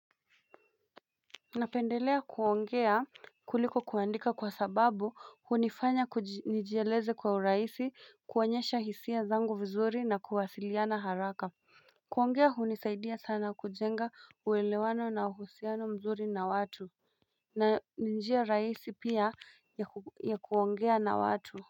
Napendelea kuongea kuliko kuandika kwa sababu hunifanya kunijieleze kwa urahisi kuonyesha hisia zangu vizuri na kuwasiliana haraka kuongea hunisaidia sana kujenga uelewano na uhusiano mzuri na watu na ninjia rahisi pia ya kuongea na watu.